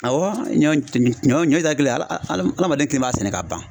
Awɔ ɲɔ ɲɔ etari kelen ala alamaden kelen b'a sɛnɛ ka ban.